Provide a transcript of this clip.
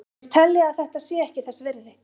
Þeir telja að þetta sé ekki þess virði.